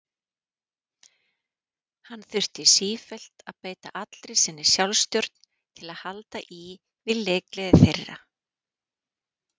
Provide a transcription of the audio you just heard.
Hann þurfti sífellt að beita allri sinni sjálfstjórn til að halda í við leikgleði þeirra.